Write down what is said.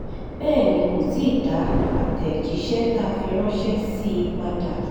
bẹ́ẹ̀ ni kò tí ì dá àtẹ̀jíṣẹ́ tá a fi ránṣẹ́ sí i padà